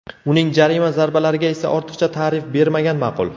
Uning jarima zarbalariga esa ortiqcha tarif bermagan ma’qul.